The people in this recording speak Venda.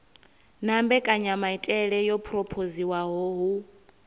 na mbekanyamaitele yo phurophoziwaho hu